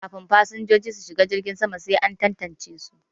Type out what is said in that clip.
Kafin fasinjoji su shiga jirgin sama sai an tantance su